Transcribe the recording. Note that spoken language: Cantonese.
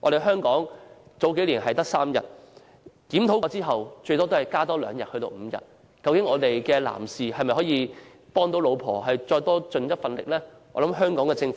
香港數年前只有3天，檢討後只增加2天至5天，難道男士不可以為太太多出一分力嗎？